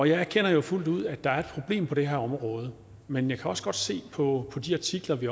jeg erkender fuldt ud at der er et problem på det her område men jeg kan også godt se på de artikler vi